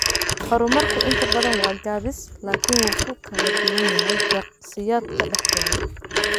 Horumarku inta badan waa gaabis, laakiin wuu ku kala duwan yahay shakhsiyaadka dhexdooda.